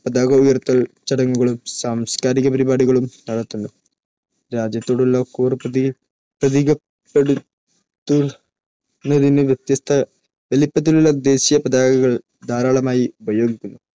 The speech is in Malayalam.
പതാക ഉയർത്തൽ ചടങ്ങുകളും സാംസ്കാരിക പരിപാടികളും നടത്തുന്നു. രാജ്യത്തോടുള്ള കൂറ് പ്രതീകപ്പെടുത്തുന്നതിന് വ്യത്യസ്ത വലിപ്പത്തിലുള്ള ദേശീയ പതാകകൾ ധാരാളമായി ഉപയോഗിക്കുന്നു.